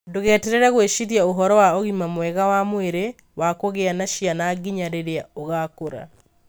Ndũgeterere gwĩciria ũhoro wa ũgima mwega wa mwĩrĩ wa kũgĩa na ciana nginya rĩrĩa ũgaakũra.